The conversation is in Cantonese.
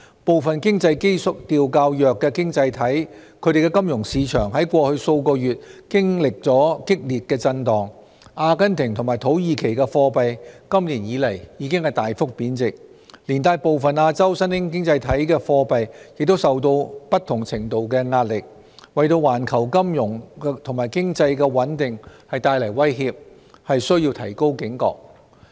部分經濟基調較弱的經濟體的金融市場在過去數月經歷激烈震盪，阿根廷和土耳其的貨幣今年以來已大幅貶值，連帶部分亞洲新興經濟體的貨幣也受到不同程度的壓力，為環球金融和經濟的穩定帶來威脅，須提高警覺。